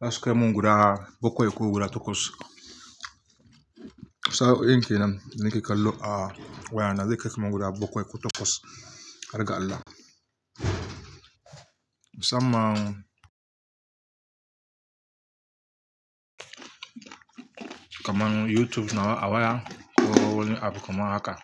zasu kaimun guda bakwai ko guda takwas. Sa'o'in kenan nake kallo a wayana, zai kai kaman guda bakwai ko takwas, har ga Allah. Musamman kaman YouTube nawa awaya ko wani app kamar haka.